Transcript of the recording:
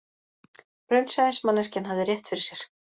Raunsæismanneskjan hafði rétt fyrir sér